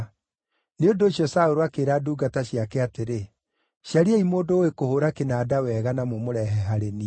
Nĩ ũndũ ũcio Saũlũ akĩĩra ndungata ciake atĩrĩ, “Cariai mũndũ ũũĩ kũhũũra kĩnanda wega na mũmũrehe harĩ niĩ.”